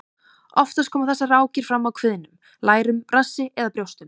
Oftast koma þessar rákir fram á kviðnum, lærum, rassi eða brjóstum.